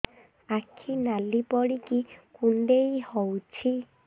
ଆଖି ନାଲି ପଡିକି କୁଣ୍ଡେଇ ହଉଛି